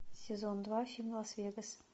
сезон два фильм лас вегас